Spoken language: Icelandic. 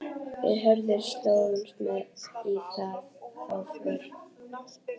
Við Hörður slógumst með í þá för.